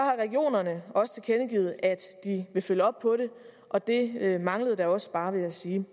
regionerne også tilkendegivet at de vil følge op på det og det manglede da også bare vil jeg sige